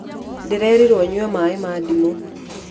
Ndĩrerirwo nyue maĩ ma ndimũ.